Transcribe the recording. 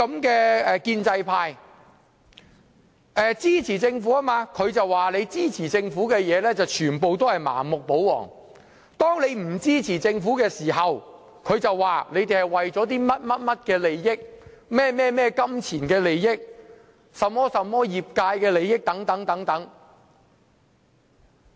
他說，建制派支持政府，而建制派支持政府的所有事項都是盲目、保皇；當我們不支持政府時，他便說我們是為了這些那些的金錢利益、業界利益等。